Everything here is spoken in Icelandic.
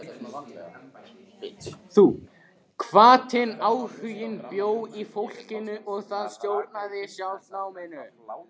Hvatinn, áhuginn bjó í fólkinu og það stjórnaði sjálft náminu.